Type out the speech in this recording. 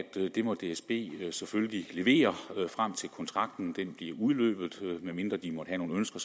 det må dsb selvfølgelig levere frem til kontrakten udløber medmindre de måtte have nogle ønsker